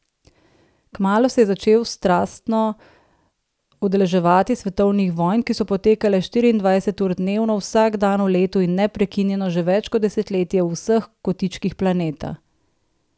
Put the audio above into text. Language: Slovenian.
Kmalu se je začel strastno udeleževati svetovnih vojn, ki so potekale štiriindvajset ur dnevno vsak dan v letu in neprekinjeno že več kot desetletje v vseh kotičkih planeta.